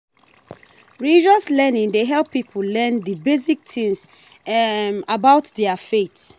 Religious learning dey help pipo learn di basic things about their faith